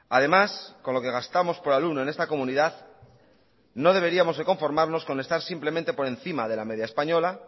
además con lo que gastamos por alumno en esta comunidad no deberíamos de conformarnos con estar simplemente por encima de la media española